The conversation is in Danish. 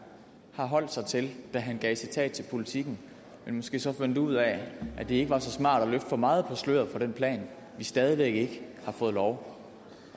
har holdt sig til da han gav citat til politiken men måske så fandt ud af at det ikke var så smart at løfte for meget på sløret for den plan vi stadig væk ikke har fået lov